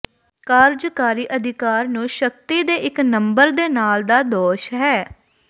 ਕਾਰਜਕਾਰੀ ਅਧਿਕਾਰ ਨੂੰ ਸ਼ਕਤੀ ਦੇ ਇੱਕ ਨੰਬਰ ਦੇ ਨਾਲ ਦਾ ਦੋਸ਼ ਹੈ